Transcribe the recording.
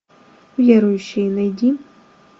верующие найди